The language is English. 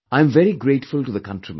I am very grateful to the countrymen